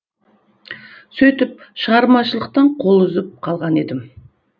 сөйтіп шығармашылықтан қол үзіп қалған едім